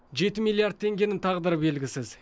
жеті миллиард теңгенің тағдыры белгісіз